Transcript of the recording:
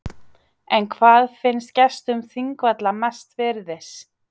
En hvað finnst gestum þingvalla mest virðis?